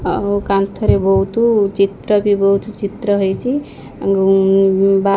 ଆଉ କାନ୍ଥରେ ବୋହୁତୁ ଚିତ୍ର ବି ବୋହୁତୁ ଚିତ୍ର ହେଇଚି ଗୁଁ ଉଁ ବା--